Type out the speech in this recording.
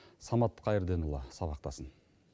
самат қайырденұлы сабақтасын